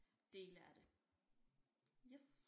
Dele af det yes